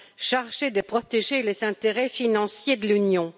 chargé de protéger les intérêts financiers de l'Union.